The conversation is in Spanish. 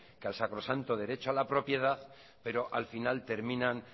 que el sacrosanto derecho a la propiedad pero al final terminan